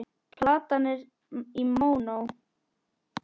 Platan er í mónó.